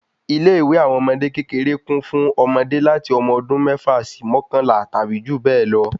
Ilé ìwé àwọn ọmọdé kékeré kún fún ọmọde láti ọmọ ọdún mẹ́fà sí mọkanla tàbí jù bẹ lọ